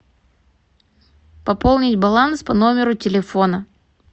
пополнить баланс по номеру телефона